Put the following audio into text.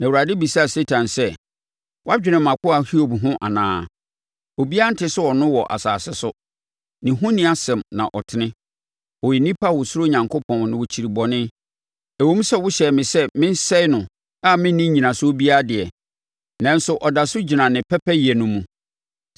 Na Awurade bisaa Satan sɛ, “Woadwene mʼakoa Hiob ho anaa? Obiara nte sɛ ɔno wɔ asase so, ne ho nni asɛm na ɔtene. Ɔyɛ onipa a ɔsuro Onyankopɔn na ɔkyiri bɔne. Ɛwom sɛ wohyɛɛ me sɛ mensɛe no a menni nnyinasoɔ biara deɛ, nanso ɔda so gyina ne pɛpɛyɛ no mu.”